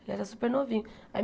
Ele era super novinho. Aí